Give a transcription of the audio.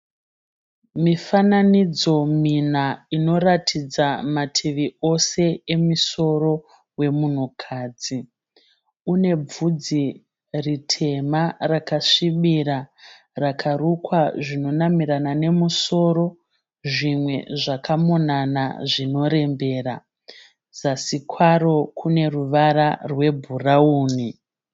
Mifananidzo mina inoratidza mativi ose emusoro wemunhukadzi. Une bvudzi ritema rakasvibira rakarukwa zvinonamirana nemusoro zvimwe zvakamonana zvinorembera. Zasi kwaro kune ruvara rwebhurawuni.